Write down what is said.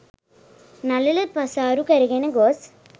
නළල පසාරු කරගෙන ගොස්